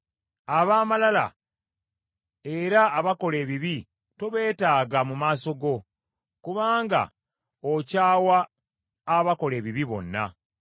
Ab’amalala era abakola ebibi tobeetaaga mu maaso go: kubanga okyawa abakola ebibi bonna.